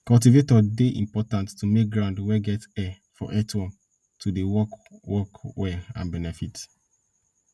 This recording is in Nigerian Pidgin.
cultivator dey important to make ground wey get air for earthworm to dey work work well and benefit